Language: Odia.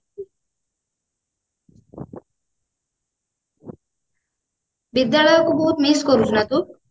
ବିଦ୍ୟାଳୟକୁ ବହୁତ miss କରୁଛୁ ନା ତୁ